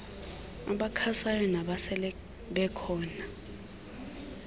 abakhasayo nabasele bekhona